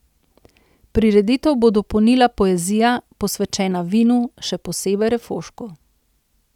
Prireditev bo dopolnila poezija, posvečena vinu, še posebej refošku.